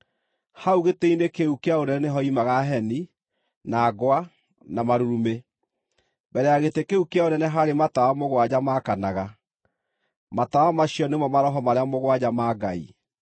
Hau gĩtĩ-inĩ kĩu kĩa ũnene nĩhoimaga heni, na ngwa, na marurumĩ. Mbere ya gĩtĩ kĩu kĩa ũnene haarĩ matawa mũgwanja maakanaga. Matawa macio nĩmo maroho marĩa mũgwanja ma Ngai.